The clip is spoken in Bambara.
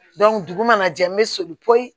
dugu mana jɛ n bɛ soli